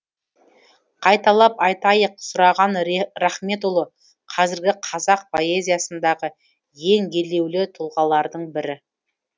қайталап айтайық сұраған рахметұлы қазіргі қазақ поэзиясындағы ең елеулі тұлғалардың бірі